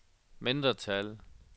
mindretal